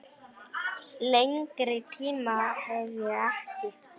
Lengri tíma hef ég ekki.